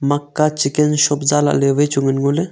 makka chicken shop zah lah ley wai chu ngan ngo ley.